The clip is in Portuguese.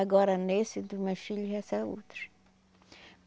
Agora nesse, dos meus filho já são outro.